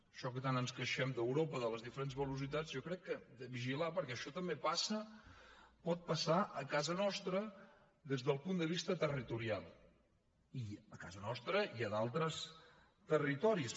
això que tant ens queixem d’europa de les diferents velocitats jo crec que hem de vigilar perquè això també passa pot passar a casa nostra des del punt de vista territorial a casa nostra i a d’altres territoris